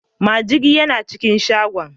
Majigi yana cikin shagon.